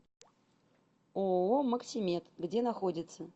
ооо максимед где находится